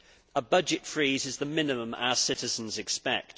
A budget freeze is the minimum our citizens expect.